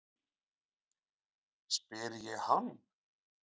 spyr ég hann.